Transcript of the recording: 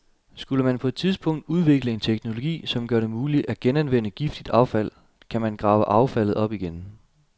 Skulle man på et tidspunkt udvikle en teknologi, som gør det muligt at genanvende giftigt affald, kan man grave affaldet op igen.